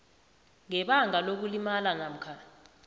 ngebanga lokulimala namkha